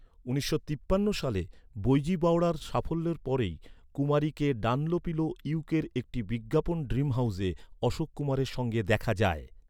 উনিশশো তিপ্পান্ন সালে, বৈজু বাওরার সাফল্যের পরপরই, কুমারীকে ডানলোপিলো ইউকের একটি বিজ্ঞাপন ড্রিম হাউসে অশোক কুমারের সঙ্গে দেখা যায়।